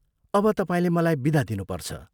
अब तपाईंले मलाई विदा दिनुपर्छ।